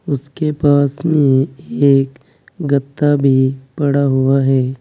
उसके पास में एक गत्ता भी पड़ा हुआ है।